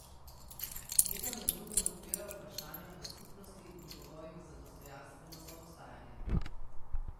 Knjiga med drugim odpira vprašanja o skupnosti in pogojih za dostojanstveno soobstajanje.